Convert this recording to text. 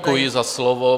Děkuji za slovo.